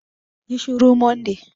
Ƴi shuru Monday!